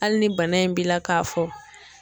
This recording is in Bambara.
Hali ni bana in b'i la k'a fɔ